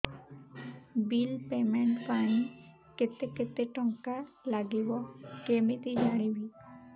bill payment ପାଇଁ କେତେ କେତେ ଟଙ୍କା ଲାଗିବ କେମିତି ଜାଣିବି